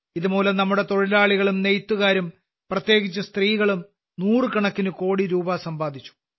ഇതുമൂലം നമ്മുടെ തൊഴിലാളികളും നെയ്ത്തുകാരും പ്രത്യേകിച്ച് സ്ത്രീകളും നൂറുകണക്കിന് കോടി രൂപ സമ്പാദിച്ചു